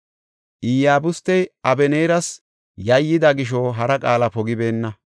Iyabustey Abeneeras yayyida gisho hara qaala pogibeenna.